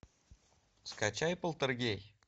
скачай полтергей